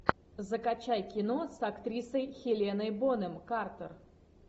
закачай кино с актрисой хеленой бонем картер